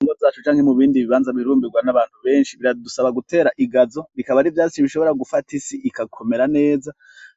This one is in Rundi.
Mu ngo zacu canke mu bibanza bihurumbirwa n'abantu benshi, biradusaba gutera igazo, bikaba ari ivyatsi bishobora gufata isi igakomera neza,